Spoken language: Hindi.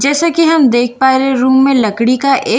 जैसे कि हम देख पा रहे हैं रूम में लकड़ी का एक--